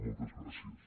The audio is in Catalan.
moltes gràcies